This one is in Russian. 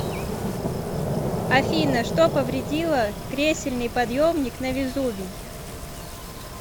афина что повредило кресельный подъемник на везувий